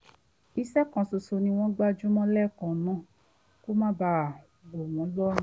iṣẹ́ kan ṣoṣo ni wọ́n gbájú mọ́ lẹ́ẹ̀kan náà kí ó má bàa wọ̀ wọ́n lọ́rùn